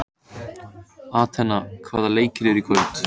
Atena, hvaða leikir eru í kvöld?